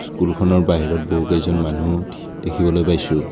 স্কুলখনৰ বাহিৰত বহুকেইজন মানুহ দেখিবলৈ পাইছোঁ।